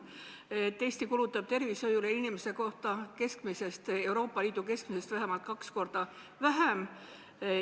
Eesti nimelt kulutab tervishoiule inimese kohta Euroopa Liidu keskmisest vähemalt kaks korda vähem.